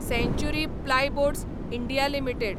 सँचुरी plyboards India limited